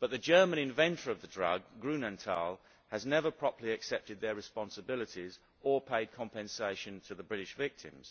but the German inventor of the drug, Grünenthal, has never properly accepted its responsibilities or paid compensation to the British victims.